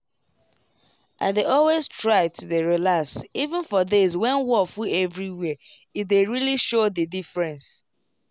i dey always try to dey relax even for days when wor full everywhere e dey really show the diffrence